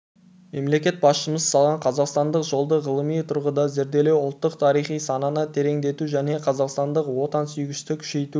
мемлекет басшымыз салған қазақстандық жолды ғылыми тұрғыда зерделеу ұлттық тарихи сананы тереңдету және қазақстандық отансүйгіштікті күшейту